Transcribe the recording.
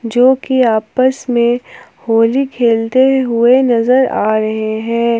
जोकि आपस में होली खेलते हुए नजर आ रहे हैं।